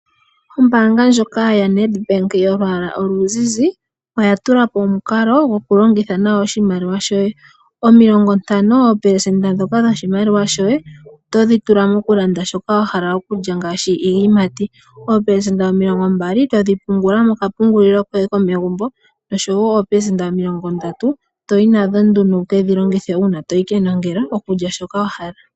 Ombanga ndjoka yaNEDBANK yolwaala oluzizi, oyatulapo omukalo gokulongitha nawa oshimaliwa opelesenda 50 otodhitula mwaashoka wahala okulya ngaashi iiyimati, opelesenda 20 todhipungula moka pungulila koye komegumbo nosho woo opelesenda 30 todhi longitha uuna toyi kenongelo okulya shoka wahala.